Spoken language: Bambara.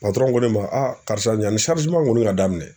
ko ne ma a karisa yani kɔni ka daminɛ